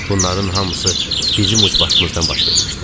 Bunların hamısı bizim ucbatımızdan baş vermişdi.